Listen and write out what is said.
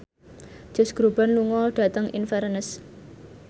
Josh Groban lunga dhateng Inverness